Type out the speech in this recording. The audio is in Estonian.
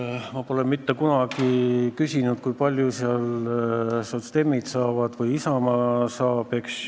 Aga ma pole mitte kunagi küsinud, kui palju sotsiaaldemokraadid saavad või Isamaa saab.